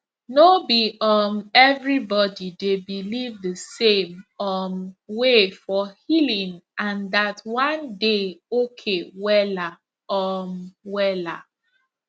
no be um everybody dey believe the same um way for healing and that one dey okay wella um wella